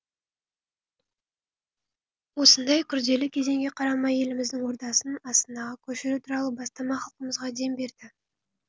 осындай күрделі кезеңге қарамай еліміздің ордасын астанаға көшіру туралы бастама халқымызға дем берді